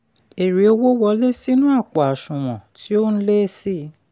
èrè owó wọlé sínú àpò àṣùwọ̀n tí ó n lé sí i.